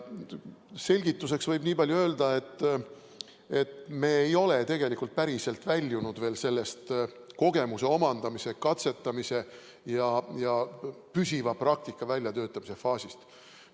Selgituseks võib niipalju öelda, et me ei ole päriselt väljunud veel kogemuse omandamise, katsetamise ja püsiva praktika väljatöötamise faasist.